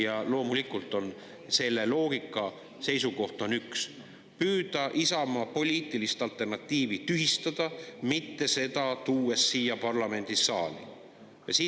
Ja loomulikult on selle loogika seisukoht üks: püüda Isamaa poliitilist alternatiivi tühistada seda siia parlamendisaali mitte tuues.